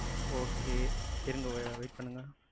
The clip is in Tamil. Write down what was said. okay இருங்க, wait பண்ணுங்க.